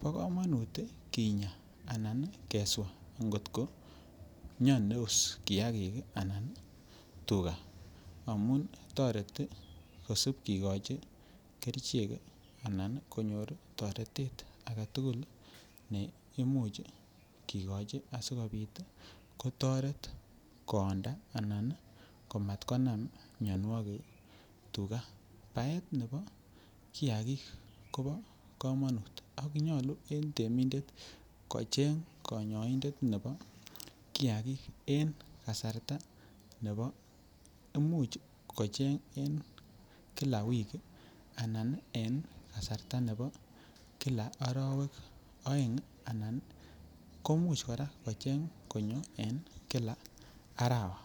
Bo komonut ii kinyaa anan keswaa ngotko miondos kiagik anan tuga amun toreti kosip kigochi kerichek anan konyor toretet agetugul ne imuch kigochi asikopit kotoret koonda anan ko mat konam mionwokik tuga. Baet nebo kiagik Kobo komonut ak nyoluu en temindet kocheng konyoindet nebo kiagik en kasarta nebo imuch kocheng en Kila wikii anan kasarta nebo Kila orowek oeng anan komuch kocheng konyo en Kila arawa